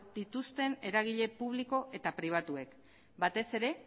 dituzten eragile publiko eta pribatuek batez ere